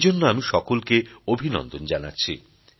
এইজন্য আমি সকলকে অভিনন্দন জানাচ্ছি